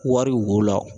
Wari wo la